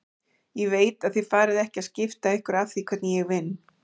Ég veit að þið farið ekki að skipta ykkur af því hvernig ég vinn.